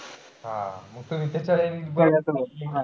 हा. मंग तुम्ही